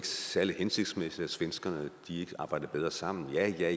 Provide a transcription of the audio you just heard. særlig hensigtsmæssigt at svenskerne ikke arbejdede bedre sammen ja ja